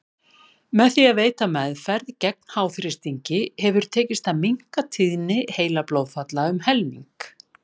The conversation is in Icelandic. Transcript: Með því að veita meðferð gegn háþrýstingi hefur tekist að minnka tíðni heilablóðfalla um helming.